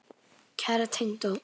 Kæra tengdó.